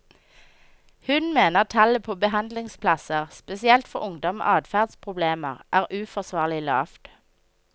Hun mener tallet på behandlingsplasser, spesielt for ungdom med adferdsproblemer, er uforsvarlig lavt.